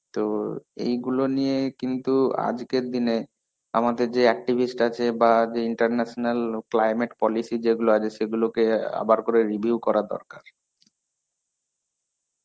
তো এইগুলো নিয়েই কিন্তু আজকের দিনে আমাদের যে activist আছে, বা যে international climate policy যেগুলো আছে সেগুলোকে আবার করে review করা দরকার.